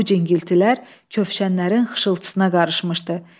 Bu cingiltilər köfşənlərin xışıltısına qarışmışdı.